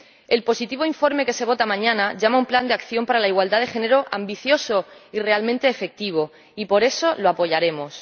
El positivo informe que se vota mañana llama a un Plan de Acción sobre igualdad de género ambicioso y realmente efectivo y, por eso, lo apoyaremos.